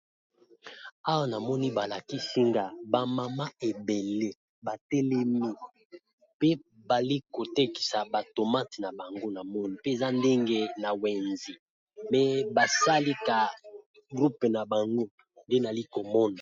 awa namoni balaki singa bamama ebele batelemi pe bali kotekisa batomate na bango na moni mpe eza ndenge na wenzi me basalaka groupe na bango nde nali komona